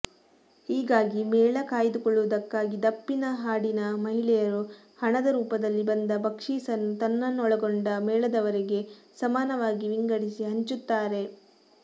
ಹೀಗಾಗಿ ಮೇಳ ಕಾಯ್ದುಕೊಳ್ಳುವುದಕ್ಕಾಗಿ ದಪ್ಪಿನ ಹಾಡಿನ ಮಹಿಳೆಯರು ಹಣದ ರೂಪದಲ್ಲಿ ಬಂದ ಭಕ್ಷೀಸನ್ನು ತನ್ನನ್ನೊಳಗೊಂಡ ಮೇಳದವರಿಗೆ ಸಮಾನವಾಗಿ ವಿಂಗಡಿಸಿ ಹಂಚುತ್ತಾರೆ